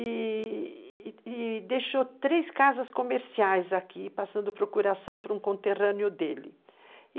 E deixou três casas comerciais aqui, passando procuração para um conterrâneo dele.